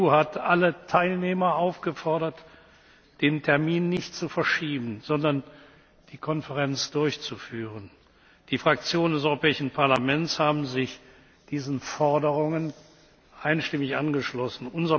Die EU hat alle Teilnehmer aufgefordert, den Termin nicht zu verschieben, sondern die Konferenz durchzuführen. Die Fraktionen des Europäischen Parlaments haben sich diesen Forderungen einstimmig angeschlossen.